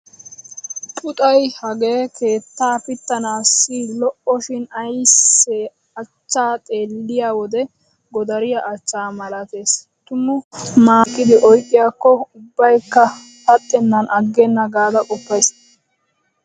Puxay hagee keetta pittanaassi lo'oshin aysse achchaa xeelliyo wode godariya achchaa malatees. Tumu mataa shiiqada oyqqiyaakko ubbaakka saxxennan aggenna gaada qoppays.